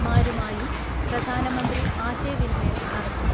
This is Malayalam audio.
മാരുമായും പ്രധാനമന്ത്രി ആശയവിനിമയം നടത്തും.